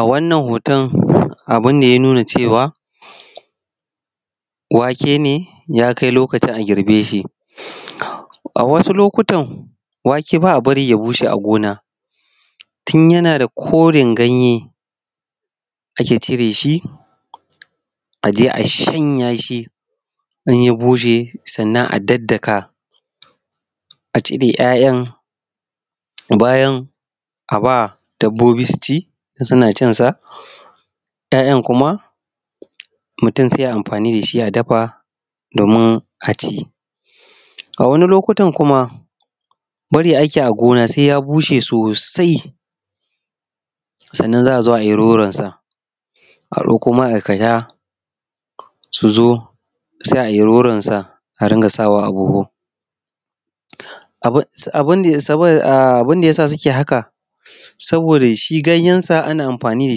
A wannan hoton abun ne ya nuna cewa wake ne ya kai lokacin a girbe shi. A wasu lokuta wake ba a barin ya bushe a gona koren ganye ake cire shi a je a sanya shi. Idan ta bushe sannan a daddaka a ciki. Ya'yan. Bayan a ba dabbobi su ci kuma suna cin sa. Ya'yan kuma murum sai a yi amfani da shi domin a ci. A wani lokutan kuma bari ake a gona sai ya bushe sosai sannan za a zo a yi horon sanan ka sha su zo sai a yi rononsa a rika sawa abuhu. Abun da yasa suke haka, shi ganyansa ana amfai da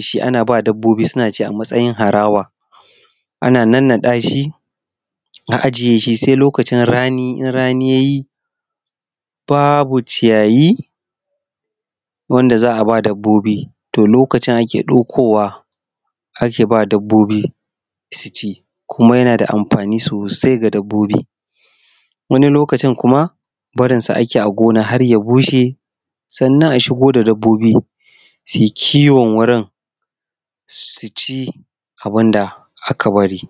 shi, dabbobi suna ci a matstin harawa. Ana nannaɗa shi na ajiye shi sai loakcin da rani ya yi babu ciyayi wansa za ba dabbobi a lokacin ake ɗaukowa ake ba dabbobi su ci kumabyana da amfani sosai ga dabbo bin wani lokaci har ya bushe sanna a shigo da dabbobi su yi ciwo su ci abu. Da aka bari